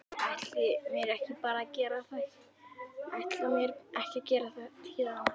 Ætla mér ekki að gera það héðan af.